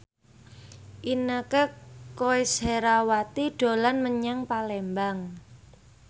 Inneke Koesherawati dolan menyang Palembang